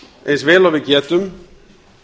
eins vel og við getum